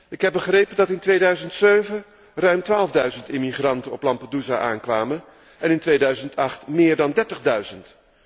Ik heb begrepen dat in 2007 ruim twaalfduizend immigranten op Lampedusa aankwamen en in 2008 meer dan dertigduizend.